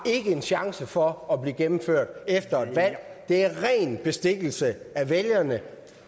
en chance for at blive gennemført efter et valg det er ren bestikkelse af vælgerne